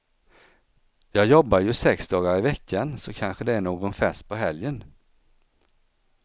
Jag jobbar ju sex dagar i veckan och så kanske det är någon fest på helgen.